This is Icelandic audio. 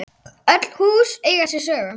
Öll hús eiga sér sögu.